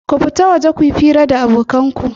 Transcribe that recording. Ku fita waje ku yi hira da abokan ku!